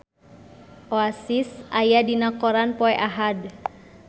Oasis aya dina koran poe Ahad